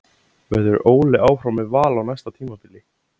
Verður Óli áfram með Val á næsta tímabili?